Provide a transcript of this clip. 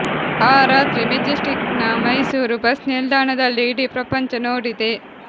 ಆ ರಾತ್ರಿ ಮೆಜೆಸ್ಟಿಕ್ ನ ಮೈಸೂರು ಬಸ್ ನಿಲ್ದಾಣದಲ್ಲಿ ಇಡೀ ಪ್ರಪಂಚ ನೋಡಿದೆ